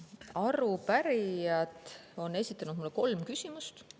Arupärijad on esitanud mulle kolm küsimust.